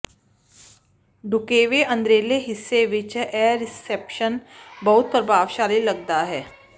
ਢੁਕਵੇਂ ਅੰਦਰਲੇ ਹਿੱਸੇ ਵਿੱਚ ਇਹ ਰਿਸੈਪਸ਼ਨ ਬਹੁਤ ਪ੍ਰਭਾਵਸ਼ਾਲੀ ਲੱਗਦਾ ਹੈ